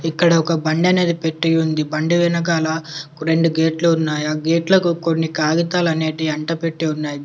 ఇక్కడ ఒక బండి అనేది పెట్టి ఉంది బండి వెనకాల రెండు గేట్లు ఉన్నాయి. ఆ గేట్లకు కొన్ని కాగితాలు అనేటివి అంటపెట్టి ఉన్నాయి.